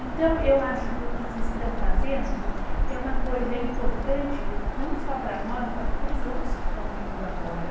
Então, eu acho que o que vocês estão fazendo é uma coisa importante, não só para nós, mas para os outros que estão vindo agora.